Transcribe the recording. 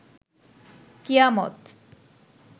কিয়ামত